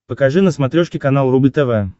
покажи на смотрешке канал рубль тв